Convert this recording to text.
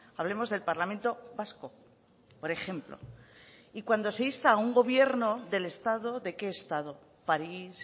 hablemos del parlamento vasco por ejemplo y cuando se insta a un gobierno del estado de qué estado parís